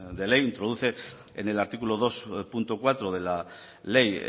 de ley introduce en el artículo dos punto cuatro de la ley